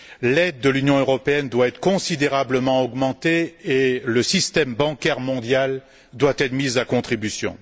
L'aide de l'Union européenne doit être considérablement augmentée et le système bancaire mondial doit être mis à contribution.